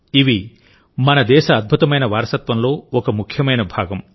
ఇవి మన దేశ అద్భుతమైన వారసత్వంలో ఒక ముఖ్యమైన భాగం